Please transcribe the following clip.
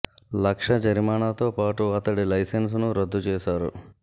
లక్ష జరిమానాతో పాటు అతడి లైసెన్స్ ను రద్దు చేశారు